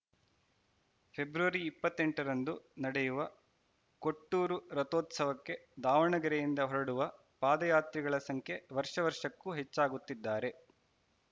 February ಇಪ್ಪತ್ತೆಂಟರಂದು ನಡೆಯುವ ಕೊಟ್ಟೂರು ರಥೋತ್ಸವಕ್ಕೆ ದಾವಣಗೆರೆಯಿಂದ ಹೊರಡುವ ಪಾದಯಾತ್ರಿಗಳ ಸಂಖ್ಯೆ ವರ್ಷ ವರ್ಷಕ್ಕೂ ಹೆಚ್ಚಾಗುತ್ತಿದ್ದಾರೆ